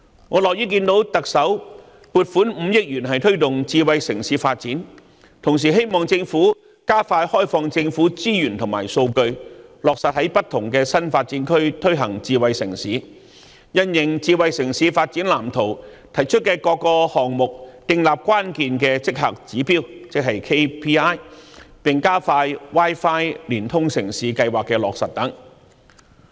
我樂於看到特首撥款5億元推動智慧城市發展，同時希望政府加快開放政府資源和數據，落實在不同的新發展區推行智慧城市，因應《香港智慧城市藍圖》提出的各個項目，訂立關鍵績效指標，並加快落實 Wi-Fi 連通城市計劃等。